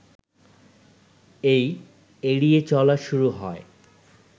এই ‘এড়িয়ে চলা’ শুরু হয়